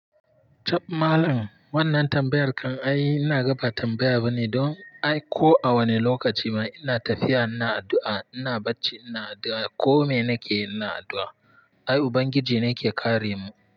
Chab malam wannan tambayar kan ai ina raba tambaya bane don ai ko a wane lokaci ma ina tafiya ina addu'a, ina bacci ina addu'a, ko mene ke ina addu'a. Ai Ubangiji ne yake kare mu.